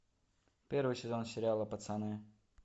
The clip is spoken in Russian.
первый сезон сериала пацаны